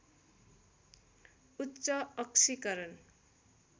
उच्च अक्सीकरण